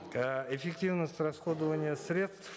э эффективность расходования средств